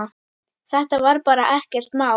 Þetta var bara ekkert mál.